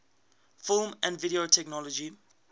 film and video technology